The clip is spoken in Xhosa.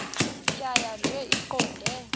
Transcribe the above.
tjhaya nje iqondee